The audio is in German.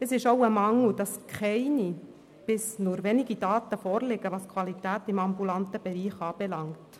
Es ist ein Mangel, dass keine oder nur wenige Daten vorliegen, was die Qualität im ambulanten Bereich anbelangt.